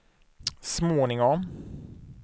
småningom